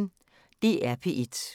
DR P1